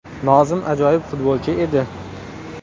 Nozim ajoyib futbolchi edi.